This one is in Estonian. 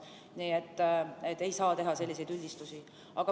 Nii et ei saa teha selliseid üldistusi.